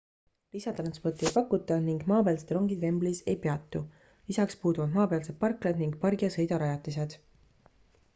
"lisatransporti ei pakuta ning maapealsed rongid wembleys ei peatu lisaks puuduvad maapealsed parklad ning "pargi ja sõida" rajatised.